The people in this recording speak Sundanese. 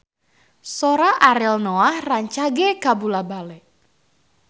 Sora Ariel Noah rancage kabula-bale